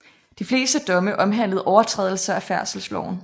De fleste domme omhandlede overtrædelser af færdselsloven